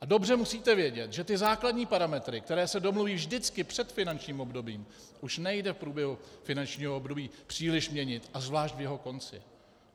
A dobře musíte vědět, že ty základní parametry, které se domluví vždycky před finančním obdobím, už nejde v průběhu finančního období příliš měnit, a zvlášť v jeho konci.